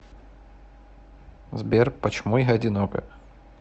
сбер почему я одинока